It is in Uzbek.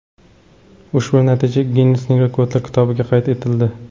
Ushbu natija Ginnesning Rekordlar kitobiga qayd etildi.